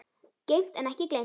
Geymt en ekki gleymt